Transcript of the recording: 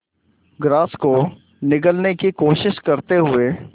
grass को निगलने की कोशिश करते हुए